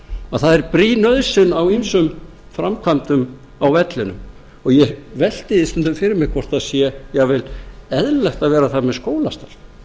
að það er brýn nauðsyn á ýmsum framkvæmdum á vellinum og ég velti því stundum fyrir mér hvort það sé jafnvel eðlilegt að vera þar með skólastarf eins og